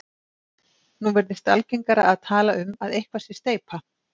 nú virðist algengara að tala um að eitthvað sé steypa